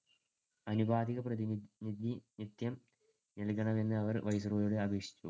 ആനുപാതിക പ്രതിനിധിത്വം നൽകണമെന്ന് അവർ viceroy യോട് അപേക്ഷിച്ചു.